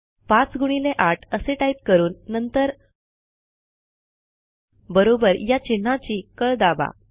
५ गुणिले ८ असे टाईप करून नंतर बरोबर या चिन्हाची कळ दाबा